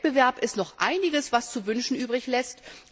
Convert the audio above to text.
Wettbewerb Da ist noch einiges, was zu wünschen übrig lässt.